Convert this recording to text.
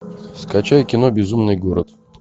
скачай кино безумный город